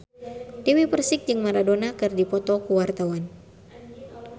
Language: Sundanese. Dewi Persik jeung Maradona keur dipoto ku wartawan